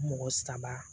Mɔgɔ saba